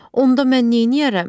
Onda mən neyniyərəm?